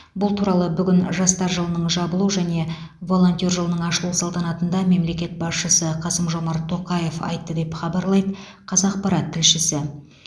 бұл туралы бүгін жастар жылының жабылу және волонтер жылының ашылу салтанатында мемлекет басшысы қасым жомарт тоқаев айтты деп хабарлайды қазақпарат тілшісі